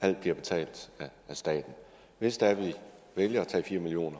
alt bliver betalt af staten hvis det er vi vælger at tage fire million